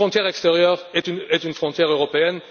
Une frontière extérieure est une frontière européenne.